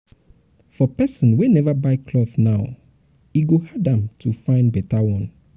for pesin wey never buy cloth now e go hard am to to fyn beta one